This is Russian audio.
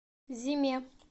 зиме